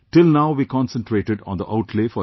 Till now we concentrated on the outlay for education